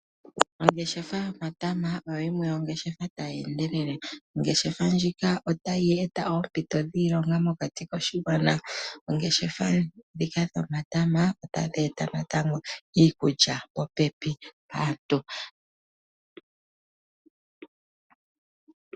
Ongeshefa yomatama oyo yimwe yongeshefa tayendelele , ongeshefa ndjika otayi eta ompito dhiilonga mokati koshingwana, oongeshefa ndhika dhomatama otadhi eta natango iikulya popepi naantu.